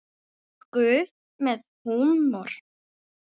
Er Guð með húmor?